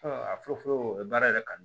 a fɔlɔ fɔlɔ o ye baara yɛrɛ kanu